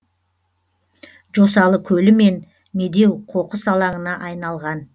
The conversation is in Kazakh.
жосалы көлі мен медеу қоқыс алаңына айналған